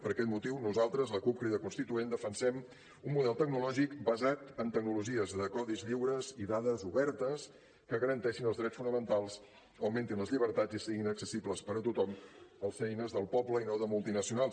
per aquest motiu nosaltres la cup crida constituent defensem un model tecnològic basat en tecnologies de codis lliures i dades obertes que garanteixin els drets fonamentals augmentin les llibertats i siguin accessibles per a tothom al ser eines del poble i no de multinacionals